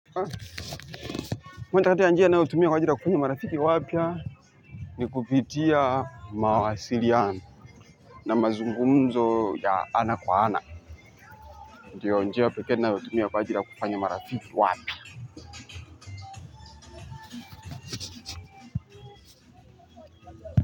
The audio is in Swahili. Mwendo kati ya njia na otumia kwa ajila kupanya marafiki wapya ni kupitia mawasiriano. Na mazungumzo ya ana kwa ana. Ndiyo njia peke nayotumia kwa ajili ya kufanya marafiki wapya.